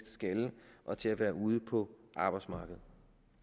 skalle og til at være ude på arbejdsmarkedet